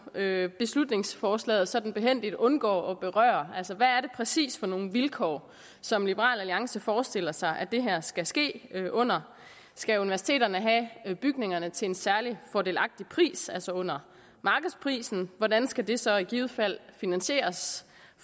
at beslutningsforslaget sådan behændigt undgår at berøre hvad er det præcis for nogle vilkår som liberal alliance forestiller sig at det her skal ske under skal universiteterne have bygningerne til en særlig fordelagtig pris altså under markedsprisen hvordan skal det så i givet fald finansieres